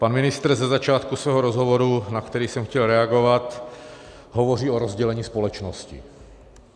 Pan ministr ze začátku svého rozhovoru, na který jsem chtěl reagovat, hovoří o rozdělení společnosti.